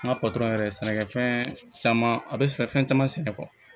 N ka yɛrɛ sɛnɛkɛfɛn caman a bɛ fɛ fɛn caman sɛnɛ